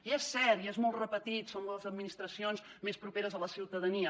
i és cert i és molt repetit són les administracions més properes a la ciutadania